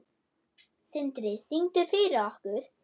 Sindri: Syngdu fyrir okkur?